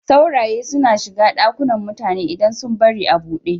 Sauraye suna shiga ɗakunan mutane idan sun bari a buɗe.